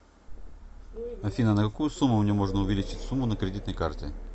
афина на какую сумму мне можно увеличить сумму на кредитной карте